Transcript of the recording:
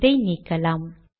இதை நீக்கலாம்